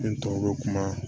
N tɔ bɛ kuma